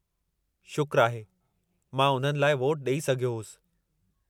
शुक्रु आहे, मां उन्हनि लाइ वोटु ॾेई सघियो होसि।